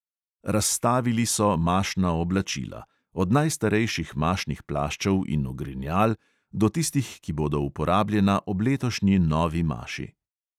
Razstavili so mašna oblačila – od najstarejših mašnih plaščev in ogrinjal do tistih, ki bodo uporabljena ob letošnji novi maši.